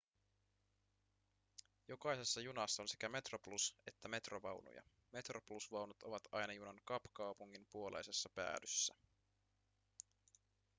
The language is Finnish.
jokaisessa junassa on sekä metroplus- että metro-vaunuja metroplus-vaunut ovat aina junan kapkaupungin puoleisessa päädyssä